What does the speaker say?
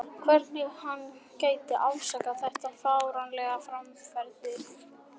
Hvernig hann geti afsakað þetta fáránlega framferði.